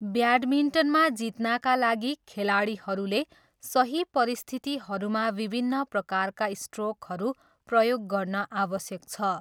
ब्याडमिन्टनमा जित्नाका लागि, खेलाडीहरूले सही परिस्थितिहरूमा विभिन्न प्रकारका स्ट्रोकहरू प्रयोग गर्न आवश्यक छ।